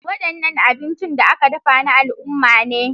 Wadannan abincin da aka dafa na al'umma ne.